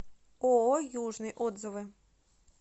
ооо южный отзывы